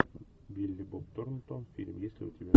билли боб торнтон фильм есть ли у тебя